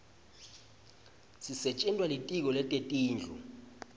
sisetjentwa litiko letetindlu